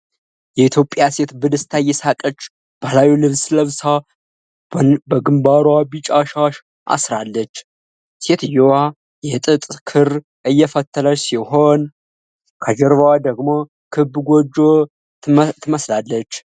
የኢትዮጵያ ሴት በደስታ እየሳቀች፣ ባህላዊ ልብስ ለብሳ በግንባሯ ቢጫ ሻሸ አሥራለች። ሴትየዋ የጥጥ ክር እየፈተለች ሲሆን፣ ከጀርባዋ ደግሞ ክብ ጎጆ ትመስላለች።